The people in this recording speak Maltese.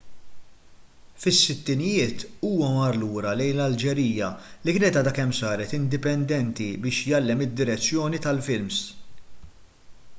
fis-sittinijiet huwa mar lura lejn l-alġerija li kienet għadha kemm saret indipendenti biex jgħallem id-direzzjoni tal-films